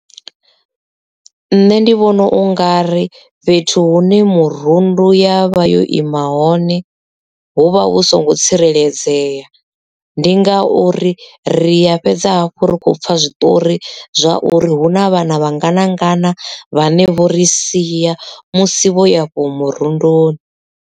Nṋe ndi vhona u nga ri fhethu hune murundu ya vha yo ima hone hu vha hu songo tsireledzea, ndi ngauri ri ya fhedza hafhu ri khou pfa zwiṱori zwa uri hu na vhana vhangana ngana vhane vho ri siya musi vho yafho murundu.